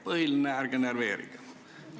Põhiline, ärge närveerige!